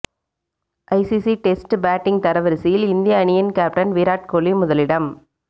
ICC test batting தரவரிசையில் இந்திய அணியின் கேப்டன் விராட் கோலி முதலிடம்